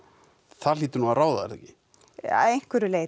það hlýtur nú að ráða er það ekki að einhverju leyti